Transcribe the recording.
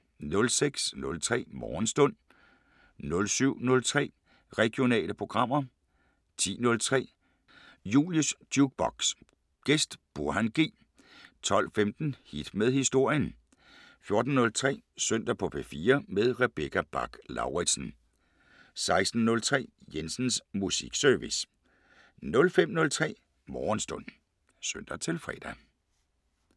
06:03: Morgenstund 07:03: Regionale programmer 10:03: Julies Jukebox: Gæst Burhan G 12:15: Hit med historien 14:03: Søndag på P4 med Rebecca Bach-Lauritsen 16:03: Jensens Musikservice 05:03: Morgenstund (søn-fre)